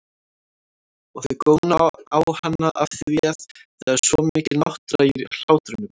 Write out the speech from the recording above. Og þau góna á hana afþvíað það er svo mikil náttúra í hlátrinum.